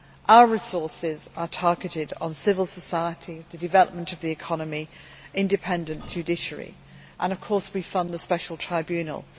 Our resources are directed at civil society and the development of the economy and an independent judiciary, and of course we fund the special tribunal.